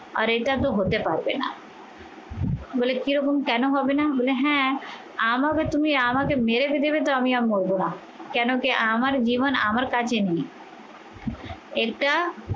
আর এটা তো হতে পারবে না বলে কিরকম কেন হবে না? বলে হ্যাঁ আমাকে তুমি আমাকে মেরে ফেলবে তো আমি আর মরবো না কেন কি আমার জীবন আমার কাছে নেই এটা